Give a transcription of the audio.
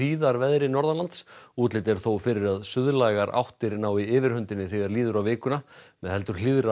hríðarveðri norðanlands útlit er þó fyrir að suðlægar áttir nái yfirhöndinni þegar líður á vikuna með heldur